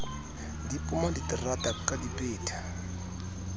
di poma diterata ka dipeta